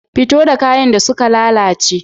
Fito da kayan da suka lalace.